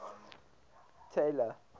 taylor